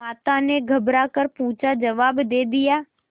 माता ने घबरा कर पूछाजवाब दे दिया